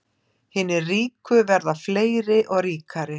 Hinir ríku verða fleiri og ríkari